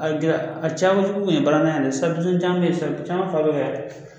A a cayakojugu kun ye baarantanya ye dɛ